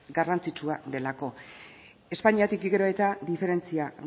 garrantzitsua delako espainiatik eta diferentzia